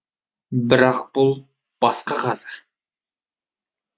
бірақ бұл басқа қаза